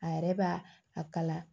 A yɛrɛ b'a a kala